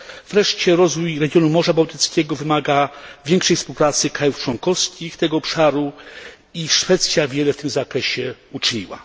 Wreszcie rozwój regionu Morza Bałtyckiego wymaga większej współpracy krajów członkowskich tego obszaru i Szwecja wiele w tym zakresie uczyniła.